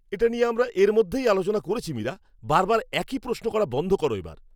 এটা নিয়ে আমরা এর মধ্যেই আলোচনা করেছি মীরা! বারবার একই প্রশ্ন করা বন্ধ করো এবার।